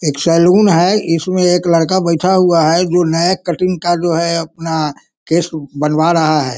एक सैलून है इसमें एक लड़का बैठा हुआ है जो नया कटिंग का जो है अपना केश बनवा रहा हैं।